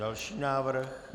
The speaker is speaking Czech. Další návrh.